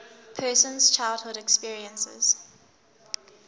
person's childhood experiences